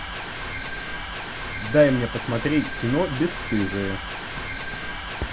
дай мне посмотреть кино бесстыжие